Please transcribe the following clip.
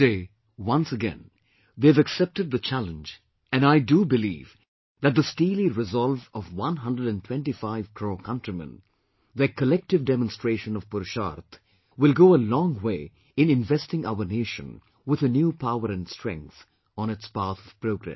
Today, once again, they have accepted the challenge and I do believe that the steely resolve of one hundred and twenty five crore countrymen, their collective demonstration of PURUSHARTH will go a long way in investing our nation with a new power and strength on its path of progress